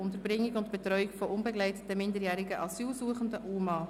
Unterbringung und Betreuung von unbegleiteten minderjährigen Asylsuchenden (UMA)».